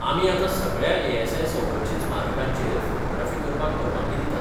आमी आतां सगळ्या ए एसआय संरक्षित स्मारकांचेर फोटोग्राफी करपाक परवानगी दितात.